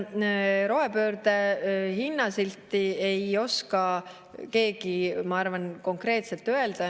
Rohepöörde hinnasilti, ma arvan, ei oska keegi konkreetselt öelda.